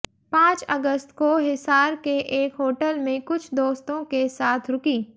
पांच अगस्त को हिसार के एक होटल में कुछ दोस्तों के साथ रुकी